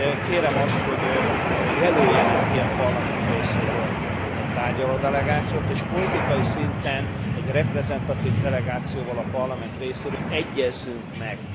Kérem azt, hogy jelöljenek ki a Parlament részéről egy tárgyaló delegációt, és politikai szinten egy reprezentatív delegációval a Parlament részéről egyezzünk meg.